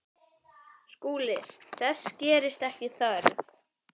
SKÚLI: Þess gerist ekki þörf.